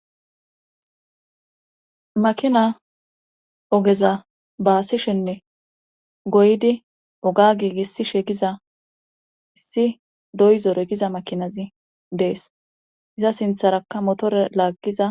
Makina ogeza baasishenne goydi oga giigiss shegiza issi doyzore giza makinazi dees iza sintharakka motore laaggiza.